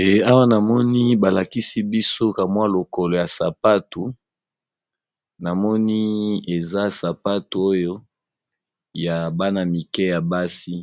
eawa namoni balakisi bisoka mwa lokolo ya sapato na moni eza sapato oyo ya bana mike ya basi